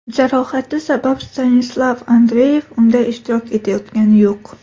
Jarohati sabab Stanislav Andreyev unda ishtirok etayotgani yo‘q.